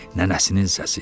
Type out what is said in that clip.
Nənəsinin səsi.